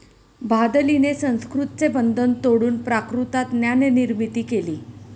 भादलीने संस्कृतचे बंधन तोडून प्राकृतात ज्ञाननिर्मिती केली.